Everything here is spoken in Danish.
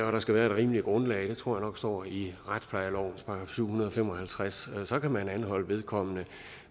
og der skal være et rimeligt grundlag det tror jeg nok står i retsplejelovens § syv hundrede og fem og halvtreds før man kan anholde vedkommende